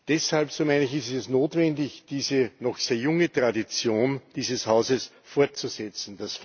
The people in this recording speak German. Deshalb, so meine ich, ist es notwendig, diese noch sehr junge Tradition dieses Hauses fortzusetzen.